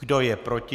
Kdo je proti?